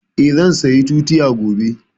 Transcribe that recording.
Eh, zan saya tutiya gobe